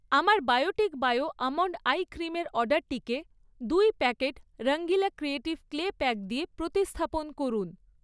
আমার Biotique bio almond eye ক্রিমের অর্ডারটিকে দুই packet Rangeela creative clay pack দিয়ে প্রতিস্থাপন করুন।